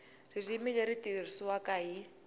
ririmi leri tirhisiwaka hi